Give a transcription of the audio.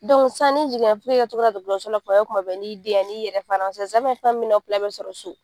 Dɔnku san n'i jigin na dɔgɔtɔrɔso la, tuma bɛ tuma bɛ n'i den ye a n'i yɛrɛ fana sisan fɛn min bɛ na aw sɔrɔ so.